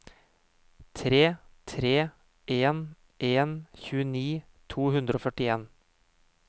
tre tre en en tjueni to hundre og førtien